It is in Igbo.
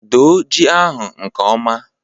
Doo ji ahụ nke ọma